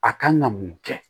A kan ka mun kɛ